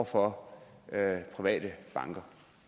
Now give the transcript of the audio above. for private banker